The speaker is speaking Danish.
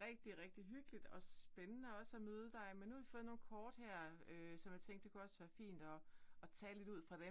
rigtig rigtig hyggeligt og spændende også at møde dig men nu har vi fået nogle kort her øh som jeg tænkte det kunne også være rigtig fint og og tale lidt ud fra dem